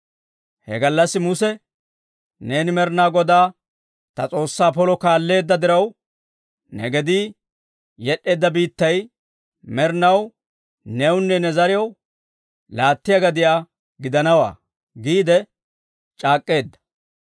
He gallassi Muse, ‹Neeni Med'ina Godaa ta S'oossaa polo kaalleedda diraw, ne gedii yed'd'eedda biittay med'inaw newunne ne zariyaw laattiyaa gadiyaa gidanawaa› giide c'aak'k'eedda.